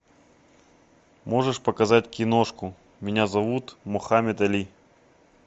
можешь показать киношку меня зовут мохаммед али